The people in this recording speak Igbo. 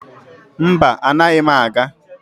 Mba, anaghị m aga.